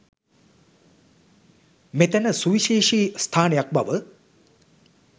මෙතැන සුවිශේෂී ස්ථානයක් බව